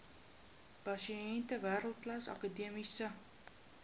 pasiënte wêreldklas akademiese